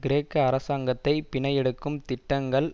கிரேக்க அரசாங்கத்தை பிணை எடுக்கும் திட்டங்கள்